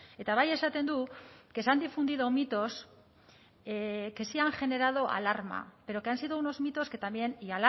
eta bai esaten du que se han difundido mitos que sí han generado alarma pero que han sido unos mitos que también y